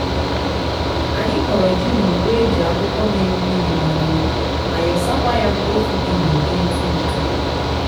anyi koro ji na ukpo eji akwukwo miri mmiri manyuo ma yosa kwaya mkpofu di na udi ntu ntu